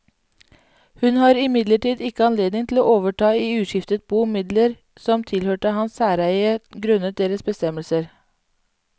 Hun har imidlertid ikke anledning til å overta i uskiftet bo midler som tilhørte hans særeie grunnet deres bestemmelser.